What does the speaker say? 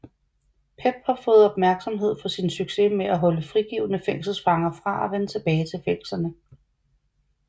PEP har fået opmærksomhed for sin succes med at holde frigivne fængselsfanger fra at vende tilbage til fængslerne